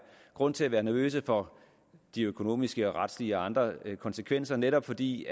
grund til at være nervøse for de økonomiske og retslige og andre konsekvenser netop fordi